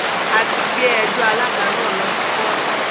a ti gbé ẹjọ́ alága náà lọ sí kóòtù